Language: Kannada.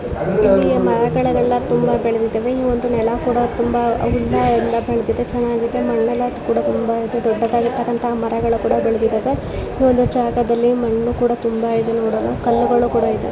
ಇಲ್ಲಿ ಮರಗಳೆಲ್ಲ ತುಂಬಾ ಬೆಳೆದಿದೆ ತುಂಬಾ ಚೆನ್ನಾಗಿದೆ ಇಲ್ಲಿ ಮರಗಿಡಿಗಳು ತುಂಬಾ ಬೆಳದಿದ್ದವೇ ಇಲ್ಲಿ ನೆಲ ಕೂಡ ಮಣ್ಣೆಲ್ಲ ತುಂಬಾ ಚೆನ್ನಗಿ ತುಂಬಾ ದೊಡ್ಡದಾದಂತಹ ಮರಗಳೆಲ್ಲ ಬೆಳದಿದಾವೆ .ಈ ಜಾಗದಲ್ಲಿ ಮಣ್ಣು ನೋಡಲು ತುಂಬಾ ಇದೆ ಕಲ್ಲುಗಳು ತುಂಬಾ ಇದೆ .